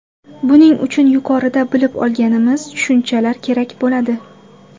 Buning uchun yuqorida bilib olganimiz tushunchalar kerak bo‘ladi.